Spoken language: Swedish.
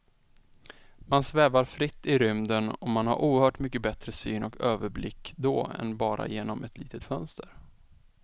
Man svävar fritt i rymden och man har oerhört mycket bättre syn och överblick då än bara genom ett litet fönster.